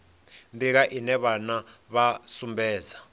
nḓila ine vhana vha sumbedza